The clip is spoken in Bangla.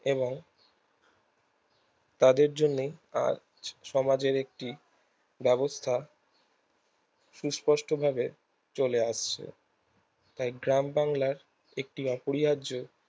এবং তাদের জন্যই আজ সমাজের একটি ব্যাবস্তা সুস্পষ্ট ভাবে চলে আসছে গ্রাম বাংলার একটি অপরিহায্য